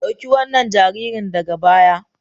Dauki wannan jaririn daga baya.